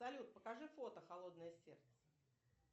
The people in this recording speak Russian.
салют покажи фото холодное сердце